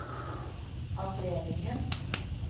avdelingens